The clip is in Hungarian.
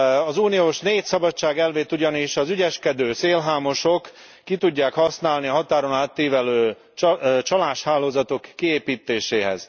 Az Unió négy szabadságelvét ugyanis az ügyeskedő szélhámosok ki tudják használni a határon átívelő csaláshálózatok kiépítéséhez.